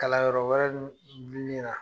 Kalan yɔrɔ wɛrɛ dun bi min na.